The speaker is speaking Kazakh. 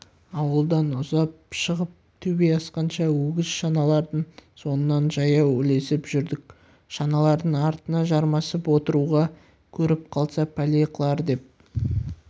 ауылдан ұзап шығып төбе асқанша өгіз шаналардың соңынан жаяу ілесіп жүрдік шаналардың артына жармасып отыруға көріп қалса пәле қылар деп